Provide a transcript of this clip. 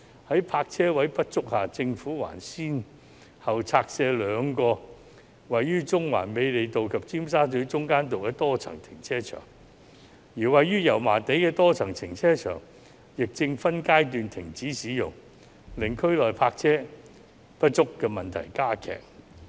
在泊車位不足下，政府還先後拆卸兩個位於中環美利道及尖沙咀中間道的多層停車場，而位於油麻地的多層停車場亦正分階段停止使用，令區內泊車位不足的問題加劇。